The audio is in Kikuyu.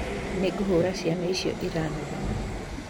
Nĩ ngũhũra ciana icio iranegena.